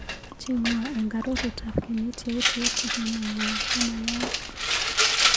Cheng'wa eng arorutab kenyit yautyet akimwawa komayaak.